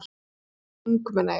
"""Þegar hún var ung, meina ég."""